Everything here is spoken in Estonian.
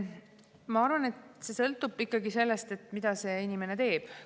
Ma arvan, et kõik sõltub ikkagi sellest, mida inimene teeb.